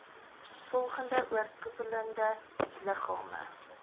volgende oorkoepelende liggame